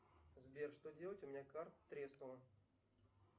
сбер что делать у меня карта треснула